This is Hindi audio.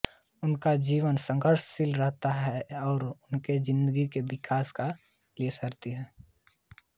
उनका जीवन संघर्षशील रहा और उन्होंने हिन्दी के विकास के लिए सराहनीय कार्य किया